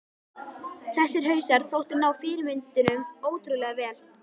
Þessir hausar þóttu ná fyrirmyndunum ótrúlega vel.